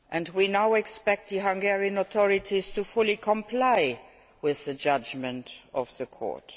We now expect the Hungarian authorities to fully comply with the judgment of the Court.